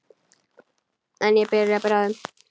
En ég byrja bráðum.